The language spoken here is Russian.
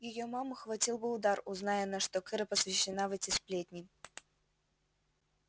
её маму хватил бы удар узнай она что кэро посвящена в эти сплетни